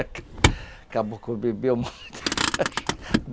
Acabou que eu bebia muita cachaça.